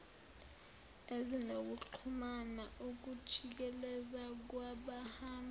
ezinokuxhumana ukujikeleza kwabahamba